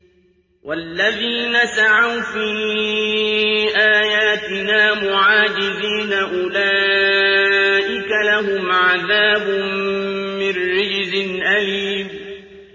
وَالَّذِينَ سَعَوْا فِي آيَاتِنَا مُعَاجِزِينَ أُولَٰئِكَ لَهُمْ عَذَابٌ مِّن رِّجْزٍ أَلِيمٌ